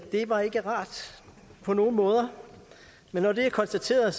det var ikke rart på nogen måde men når det er konstateret